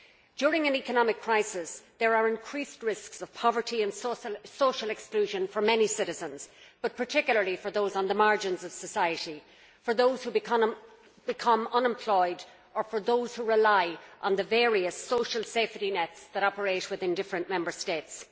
During an economic crisis, there are increased risks of poverty and social exclusion for many citizens, but particularly for those on the margins of society, for those who become unemployed and for those who rely on the various social safety nets that operate within the different Member States.